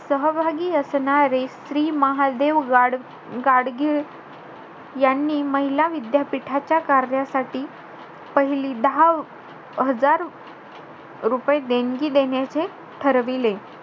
सहभागी असणारे श्री महादेव गाड~ गाडगीळ यांनी महिला विद्यापीठातल्या कार्यासाठी, पहिली दहा हजार रुपये देणगी देण्याचे ठरविले.